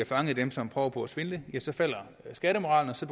fanger dem som prøver på at svindle ja så falder skattemoralen og så